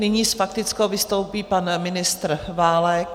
Nyní s faktickou vystoupí pan ministr Válek.